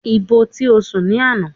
Ibo ti o sùn ní àná?